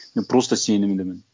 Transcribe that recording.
мен просто сенімдімін